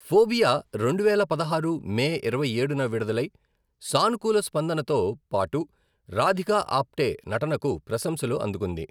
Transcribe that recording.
Phobia రెండువేల పదహారు May ఇరవైఏడున విడుదలై సానుకూల స్పందనతో పాటు రాధికా ఆప్టే నటనకు ప్రశంసలు అందుకుంది.